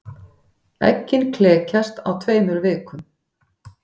Eggin klekjast á tveimur vikum.